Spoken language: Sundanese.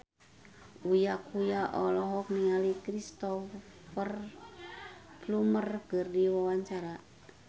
Uya Kuya olohok ningali Cristhoper Plumer keur diwawancara